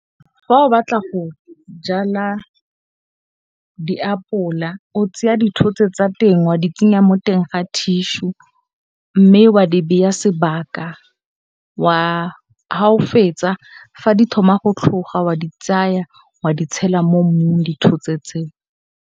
Fa o batla go jala diapola o tseya dithotse tsa teng wa di tsenya mo teng ga thišu mme wa di beya sebaka, ga o fetsa, fa di thoma go tlhoga wa di tsaya wa di tshela mo mmung dithotse tseo.